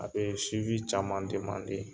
A bɛ caman